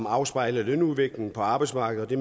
afspejler lønudviklingen på arbejdsmarkedet det